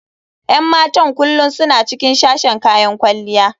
Yan matan kullum suna cikin sashen kayan kwalliya.